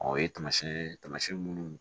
Ɔ o ye tamasiyɛn ye taamasiyɛn minnu